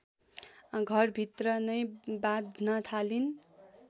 घरभित्र नै बाँध्न थालिन्